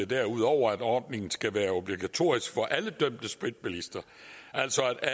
derudover at ordningen skal være obligatorisk for alle dømte spritbilister altså at